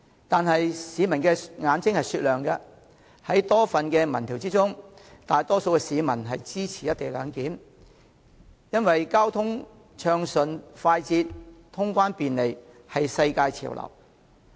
然而，市民的眼睛是雪亮的，根據多份民調的結果顯示，大多數市民均支持"一地兩檢"安排，因為交通暢順快捷、通關便利，已成為世界潮流。